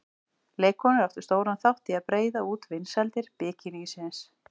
Leikkonur áttu stóran þátt í að breiða út vinsældir bikinísins.